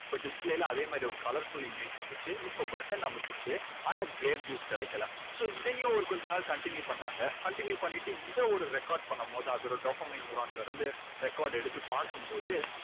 இப்போ display ல அதே மாதிரி ஒரு colourful image வந்துச்சு. இப்போ button ன அமுத்துச்சு. ஆனா grape juice கிடைக்கலை. so இதையும் கொஞ்சம் ஒரு நாள் continue பண்ணாங்க. continue பண்ணிட்டு இதையும் ஒரு record பண்ணும் போது அதோட dopamine neuron லேருந்து record எடுத்து பார்க்கும் போது